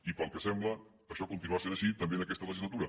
i pel que sembla això continuarà sent així també en aquesta legislatura